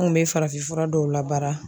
An kun bɛ farafin fura dɔw la baara